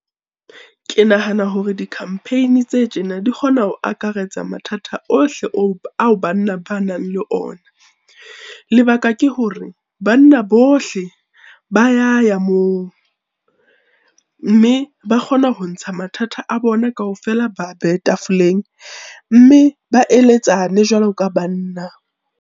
Ke nahana hore di-campaign tse tjena di kgona ho akaretsa mathata ohle ao banna ba nang le ona. Lebaka ke hore banna bohle ba ya ya moo, mme ba kgona ho ntsha mathata a bona kaofela, ba a behe tafoleng mme ba eletsane jwalo ka banna.